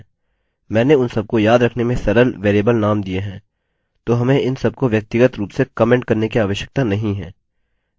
मैंने उन सबको याद रखने में सरल वेरिएबल नाम दिए हैं तो हमें इन सबको व्यक्तिगत रूप से कमेंट करने की आवश्यकता नहीं है